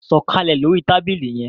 Sọkalẹ lórí tábìlì yén!